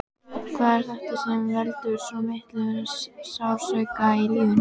Hvað er þetta sem veldur svo miklum sársauka í lífinu?